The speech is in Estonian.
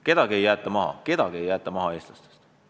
Kedagi ei jäeta maha, ühtki eestlast ei jäeta maha.